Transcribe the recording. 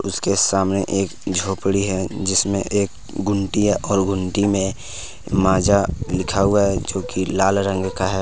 उसके सामने एक झोपड़ी है जिसमें एक गुंटी है और गुंटी मे माजा लिखा हुआ है जो कि लाल रंग का है।